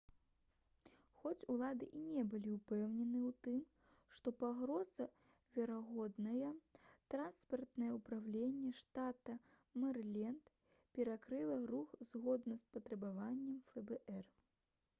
хоць улады і не былі ўпэўнены ў тым што пагроза верагодная транспартнае ўпраўленне штата мэрыленд перакрыла рух згодна з патрабаваннем фбр